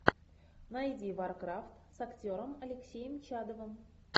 найди варкрафт с актером алексеем чадовым